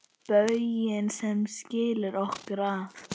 Bauginn sem skilur okkur að.